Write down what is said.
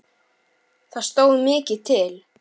Það stóð mikið til.